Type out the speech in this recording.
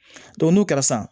n'o kɛra san